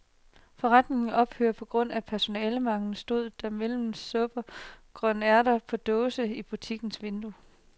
Forretningen ophører på grund af personalemangel, stod der mellem supper og grønærter på dåse i butikkens vindue.